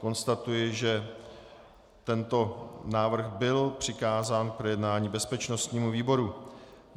Konstatuji, že tento návrh byl přikázán k projednání bezpečnostnímu výboru.